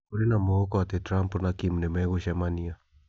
Kũrĩ na mwĩhoko atĩ Trump na Kim nimegũcemania